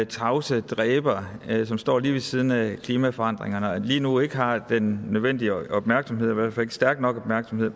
tavse dræber som står lige ved siden af klimaforandringerne og lige nu ikke har den nødvendige opmærksomhed i hvert fald stor en opmærksomhed